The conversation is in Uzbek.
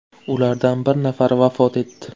Ulardan bir nafari vafot etdi.